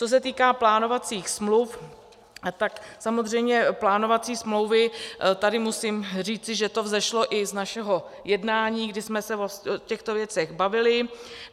Co se týká plánovacích smluv, tak samozřejmě plánovací smlouvy, tady musím říct, že to vzešlo i z našeho jednání, kdy jsme se o těchto věcech bavili.